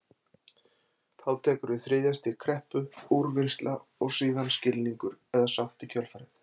Þá tekur við þriðja stig kreppu, úrvinnsla og síðan skilningur eða sátt í kjölfarið.